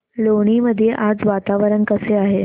लोणी मध्ये आज वातावरण कसे आहे